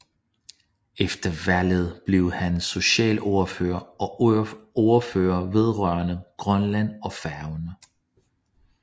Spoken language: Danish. Efter valget blev han socialordfører og ordfører vedrørende Grønland og Færøerne